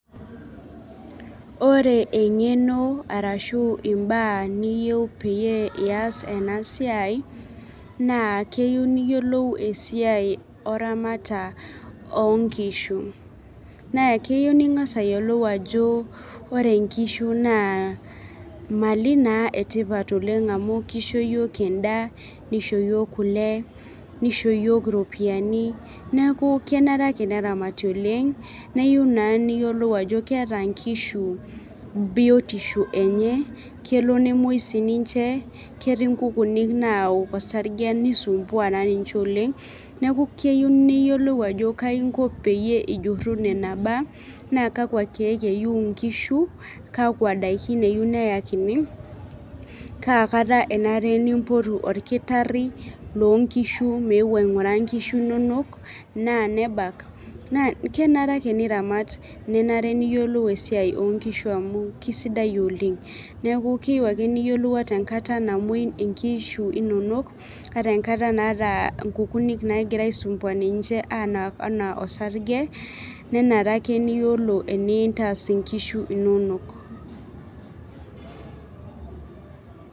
Ore eng'eno arashu imbaa niyieu peyie iyas ena siai naa keyieu niyiolou esiai oramata onkishu nee keyieu ning'as ayiolou ajo ore inkishu naa imali naa etipat oleng amu kisho iyiok endaa nisho iyiok kule nisho iyiok iropiyiani neku kenare ake neramati oleng neyieu naa niyiolou ajo keeta inkishu biotisho enye kelo nemuoi sininche ketii nkukunik naok osarge nisumbua naa ninche oleng neku keyieu niyiolou ajo kaji inko peyie ijurru nena baa naa kakwa keek eyieu inkishu kakwa daikin eyieu neyakini kaa kata enare nimpotu orkitarri lonkishu meu aing'uraa inkishu inonok naa nebak naa kenare ake niramat ninare niyiolou esiai onkishu amu kisidai oleng neeku keyieu ake niyiolou ata enkata namuoi inkishu inonok ata enkata naata inkukunik nagira aisumbua ninche anak anaa osarge nenare ake niyiolo enintas inkishu inonok.